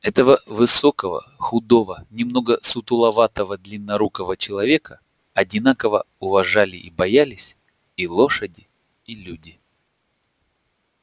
этого высокого худого немного сутуловатого длиннорукого человека одинаково уважали и боялись и лошади и люди